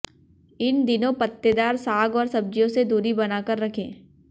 इन दिनों पत्तेदार साग और सब्जियों से दूरी बना कर रखें